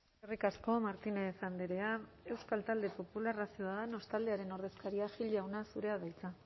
eskerrik asko martínez andrea euskal talde popularra ciudadanos taldearen ordezkaria gil jauna zurea da hitza